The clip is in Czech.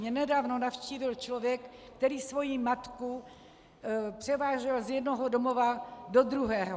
Mě nedávno navštívil člověk, který svoji matku převážel z jednoho domova do druhého.